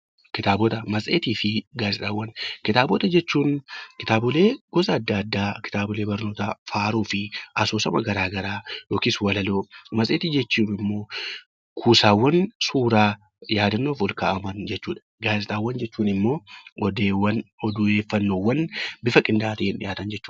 Kitaabota jechuun kitaabota gosa adda addaa kitaabolee barnootaa, faaruu fi asoosama garaagaraa yookiin walaloo kan qabu yoo ta'u, matseetiin immoo kuusaawwan suuraa yaadannoof ol kaa'aman jechuudha. Gaazexaawwan jechuun immoo odeeffannoo bifa qindaa'aa ta'een dhiyaatu jechuudha